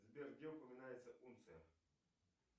сбер где упоминается унция